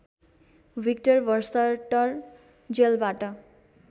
Victor Verster जेलबाट